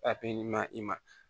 i ma